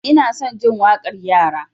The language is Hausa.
Ina son jin waƙar yara.